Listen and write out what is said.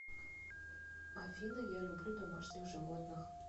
афина я люблю домашних животных